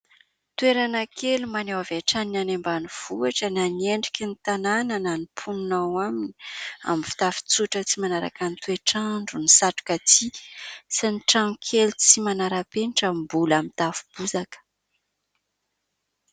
Toerana kely maneho avy hatrany ny any ambanivohitra na ny endriky ny tanàna na ny mponina ao aminy, amin'ny fitafy tsotra tsy manaraka ny toetr'andro, ny satroka tsihy, sy ny trano kely tsy manara-penitra mbola mitafo bozaka.